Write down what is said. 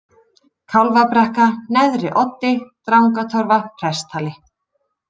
Kálfabrekka, Neðri-Oddi, Drangatorfa, Presthali